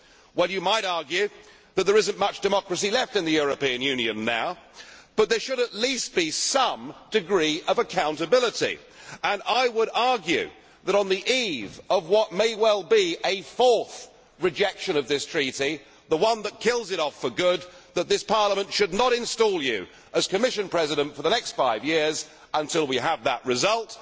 Well, you might argue that there is not much democracy left in the European Union now, but there should at least be some degree of accountability, and I would argue that, on the eve of what may well be a fourth rejection of this Treaty, the one that kills it off for good, this Parliament should not install you as Commission President for the next five years until we have that result.